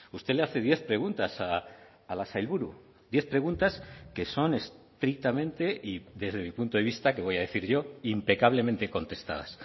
usted le hace diez preguntas a la sailburu diez preguntas que son estrictamente y desde mi punto de vista qué voy a decir yo impecablemente contestadas